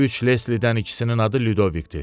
Üç Leslidən ikisinin adı Lidovikdir.